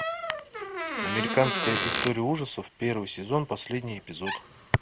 американская история ужасов первый сезон последний эпизод